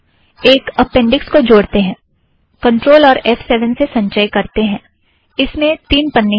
एक अपेंड़िक्स को जोड़ेते है कंट्रोल और एफ़ सेवन से संचय करेते है - इसे में तीन पन्ने हैं